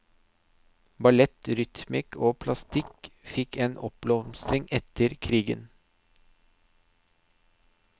Ballett, rytmikk og plastikk fikk en oppblomstring etter krigen.